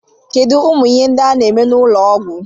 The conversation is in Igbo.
Kedu umu Ihe ndi a na eme n'ulo Ọgwụ?